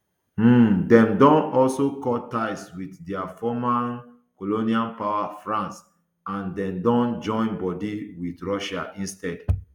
um dem don also cut ties wit dia former um colonial power france and dem don join bodi wit russia instead